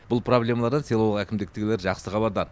бұл проблемалардан селолық әкімдіктегілер жақсы хабардар